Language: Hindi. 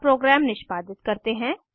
अब प्रोग्राम निष्पादित करते हैं